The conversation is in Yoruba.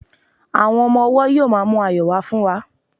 àwọn ọmọ ọwọ yíò ma mu ayọ wa fún wa